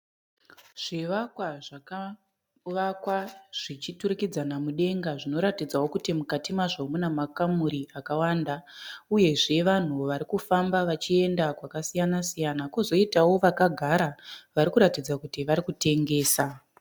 Zvivakwa zvakavakwa zvichiturikidzana mudenga. Zvinoratidzawo kuti mukati mazvo mune makamuri akawanda mudenga. Uyeo vanhu varikufamba vachienda kwakasiyana siyana kozoitao vakagara varikuratidza kuti varikutengesa.